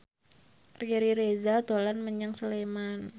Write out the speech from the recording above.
Riri Reza dolan menyang Sleman